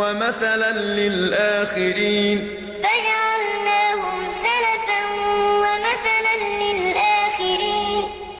وَمَثَلًا لِّلْآخِرِينَ فَجَعَلْنَاهُمْ سَلَفًا وَمَثَلًا لِّلْآخِرِينَ